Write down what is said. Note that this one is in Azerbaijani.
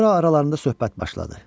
Sonra aralarında söhbət başladı.